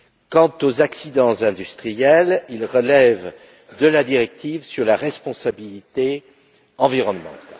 Quant aux accidents industriels, ils relèvent de la directive sur la responsabilité environnementale.